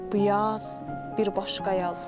Bu yaz bir başqa yazdır.